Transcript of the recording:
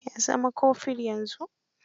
Ya zama kofur yanzu.